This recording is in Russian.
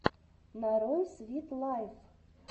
нарой свит лайф